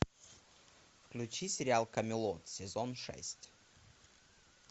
включи сериал камелот сезон шесть